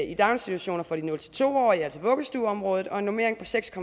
i daginstitutioner for de nul to årige altså vuggestueområdet og en normering på seks